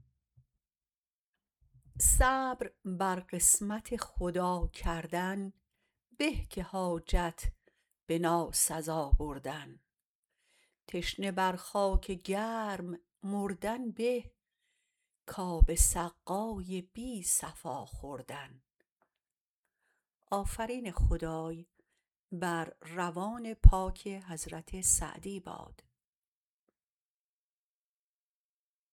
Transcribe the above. صبر بر قسمت خدا کردن به که حاجت به ناسزا بردن تشنه بر خاک گرم مردن به کاب سقای بی صفا خوردن